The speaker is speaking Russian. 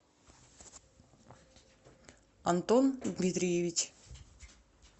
антон дмитриевич